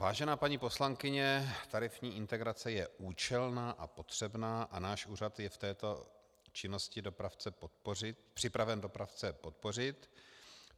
Vážená paní poslankyně, tarifní integrace je účelná a potřebná a náš úřad je v této činnosti připraven dopravce podpořit.